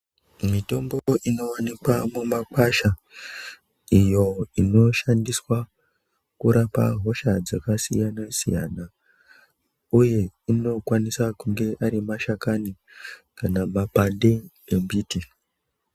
Mitombo inovanikwa mumakasha iyo inoshandiswa kurapa hosha dzakasiyana-siyana, uye anokwanisa kunge ari mashakani kana mapande embiti.